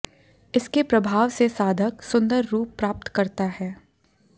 इसके प्रभाव से साधक सुंदर रूप प्राप्त करता है